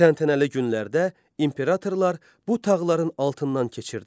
Təntənəli günlərdə imperatorlar bu tağların altından keçirdilər.